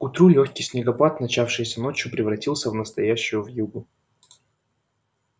к утру лёгкий снегопад начавшийся ночью превратился в настоящую вьюгу